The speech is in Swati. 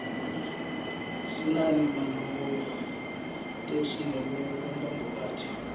sinane maloko tlkesl nemabhokathi